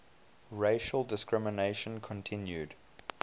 racial discrimination continued